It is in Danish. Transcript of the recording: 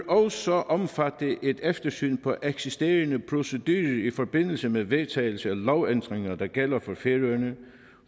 også omfatte et eftersyn af eksisterende procedurer i forbindelse med vedtagelse af lovændringer der gælder